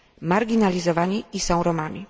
marginalizowani i są Romami.